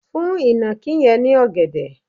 fún ìnàkí yẹn ní ògèdè!